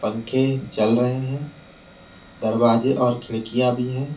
पंखे चल रहे हैं दरवाजे और खिड़कियां भी हैं।